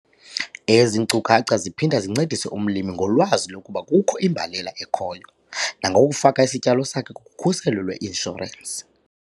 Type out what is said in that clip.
Ezi nkcukacha ziphinda zincedise umlimi ngolwazi lokuba kukho imbalela ekhoyo, nangokufaka isityalo sakhe kukhuselo lweinshorensi.